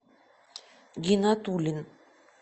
гинатулин